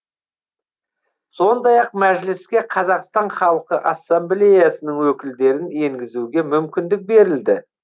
сондай ақ мәжіліске қазақстан халқы ассамблеясының өкілдерін енгізуге мүмкіндік берілді